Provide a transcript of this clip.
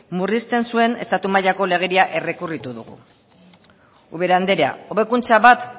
murrizten zuen estatu mailako legeria errekurritu dugu ubera anderea hobekuntza bat